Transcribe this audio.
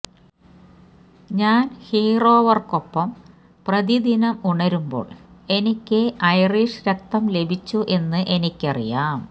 ഞാൻ ഹീറോവർക്കൊപ്പം പ്രതിദിനം ഉണരുമ്പോൾ എനിക്ക് ഐറിഷ് രക്തം ലഭിച്ചു എന്ന് എനിക്കറിയാം